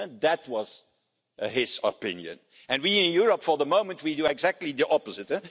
That was his opinion. We in Europe for the moment are doing exactly the opposite.